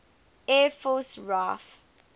air force raaf